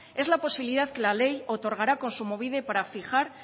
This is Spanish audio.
es la posibilidad que la ley otorgará a kontsumobide para fijar